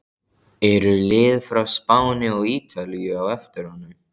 Eru lið frá Spáni og Ítalíu á eftir honum?